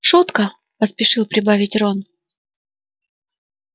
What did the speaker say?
шутка поспешил прибавить рон